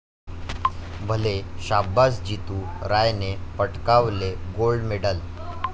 भले शाब्बास, जितू रायने पटकावले गोल्ड मेडल